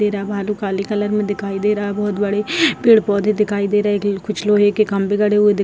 दे रहा है | भालू काली कलर में दिखाई दे रहा है | बहुत बड़े पेड़-पौधे दिखाई दे रहे है की कुछ लोहे के खम्बे गड़े हुए दि --